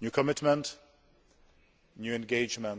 a new commitment, a new engagement